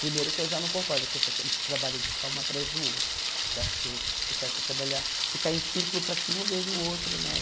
Primeiro que eu já não concordo com essa esse trabalho de ficar uma atrás do outro, que eu acho que o certo é trabalhar, ficar em círculo para que um veja o outro, né?